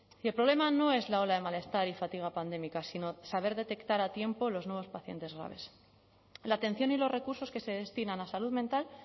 y el problema no es la ola de malestar y fatiga pandémicas sino saber detectar a tiempo los nuevos pacientes graves la atención y los recursos que se destinan a salud mental